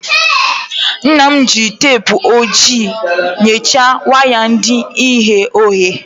Nna m jiri teepụ ojii nyachie waya ndị ghe oghe.